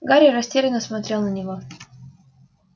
гарри растерянно смотрел на него